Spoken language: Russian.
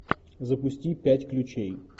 запусти пять ключей